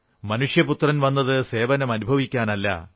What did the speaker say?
മനുഷ്യപുത്രൻ വന്നത് സേവനം അനുഭവിക്കാനല്ല